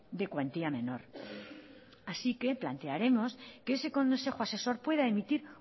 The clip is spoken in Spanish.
de cuantía menor así que plantearemos que ese consejo asesor pueda emitir